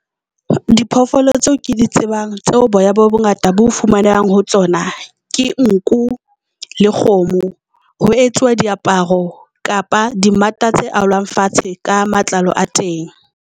Diphoofolo tseo ke di tsebang tseo boya bo bongata bo fumanehang ho tsona, ke nku le kgomo ho etsuwa diaparo kapa di mmata tse alwang fatshe ka matlalo a teng.